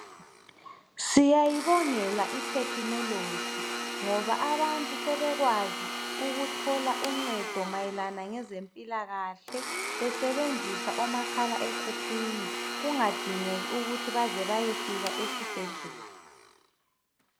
Siyayibongela i"technology " ngoba abantu sebekwazi ukuthola uncedo mayelana ngezempilakahle besebenzisa omakhala ekhukhwini kungadingeki ukuthi baze bayefika esibhedlela.